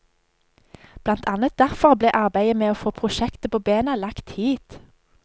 Blant annet derfor ble arbeidet med å få prosjektet på bena, lagt hit.